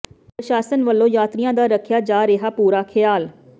ਪ੍ਰਸ਼ਾਸਨ ਵੱਲੋਂ ਯਾਤਰੀਆਂ ਦਾ ਰੱਖਿਆ ਜਾ ਰਿਹੈ ਪੂਰਾ ਖਿਆਲ